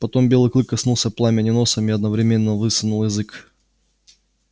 потом белый клык коснулся пламени носом и одновременно высунул язык